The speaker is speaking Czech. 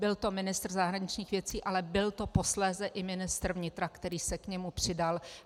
Byl to ministr zahraničních věcí, ale byl to posléze i ministr vnitra, který se k němu přidal.